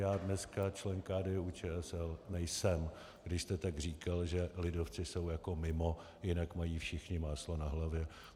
Já dneska člen KDU-ČSL nejsem, když jste tak říkal, že lidovci jsou jako mimo, jinak mají všichni máslo na hlavě.